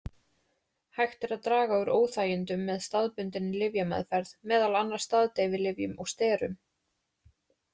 Hægt er að draga úr óþægindunum með staðbundinni lyfjameðferð, meðal annars staðdeyfilyfjum og sterum.